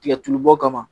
Tigɛtulu bɔ kama